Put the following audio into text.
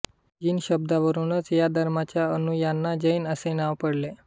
जिन शब्दावरूनच या धर्माच्या अनुयायांना जैन असे नाव पडले